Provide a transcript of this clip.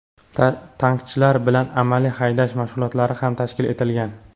Tankchilar bilan amaliy haydash mashg‘ulotlari ham tashkil etilgan.